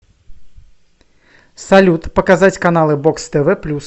салют показать каналы бокс тв плюс